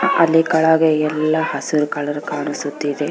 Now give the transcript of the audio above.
ಅಲ್ಲಿ ಕೆಳಗೆ ಎಲ್ಲಾ ಹಸಿರು ಕಲರ್ ಕಾಣಿಸುತ್ತಿದೆ